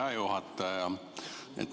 Hea juhataja!